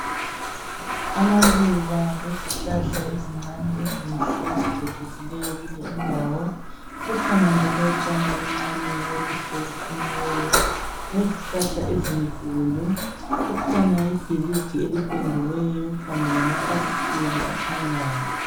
amaluba lezihlahla ezincane ezicecisileyo kule indawo kukhona njalo utshani obuncane obuhle obuqunyiweyo lezihlahla ezinkulu kukhona ibhilidi elipendiweyo kanye lamafasiteli akhanyayo